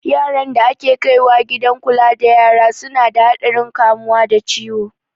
Yaran da ake kaiwa gidan kula da yara su na da haɗarin kamuwa da ciwo